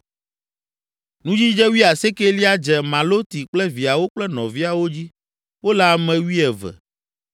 Nudzidze wuiasiekelia dze Maloti kple viawo kple nɔviawo dzi; wole ame wuieve.